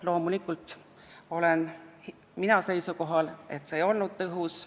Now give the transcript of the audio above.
Loomulikult olen mina seisukohal, et see ei olnud tõhus.